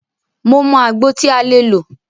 Mo mọ àgbo tí a lè lò.